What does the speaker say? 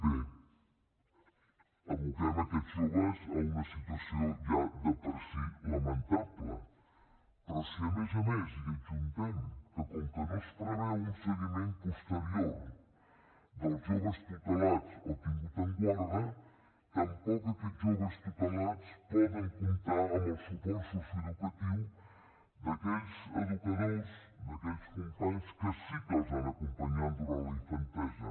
bé aboquem aquests joves a una situació ja de per si lamentable però si a més a més hi adjuntem que com que no es preveu un seguiment posterior dels joves tutelats o tinguts en guarda tampoc aquests joves tutelats poden comptar amb el suport socioeducatiu d’aquells educadors d’aquells companys que sí que els han acompanyat durant la infantesa